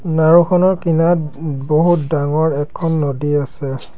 নাওঁখনৰ কিনাৰত বহুত ডাঙৰ এখন নদী আছে।